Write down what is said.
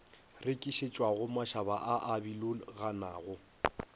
rekišetšwago mašaba a a biloganago